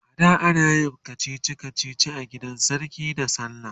ada anayin kachichi kachichi a gidan sarki da sallah